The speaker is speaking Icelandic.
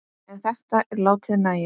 En þetta er látið nægja.